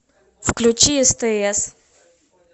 включи стс